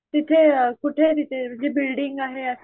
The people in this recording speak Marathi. तिथे कुठे तिथे बिल्डिंग आहे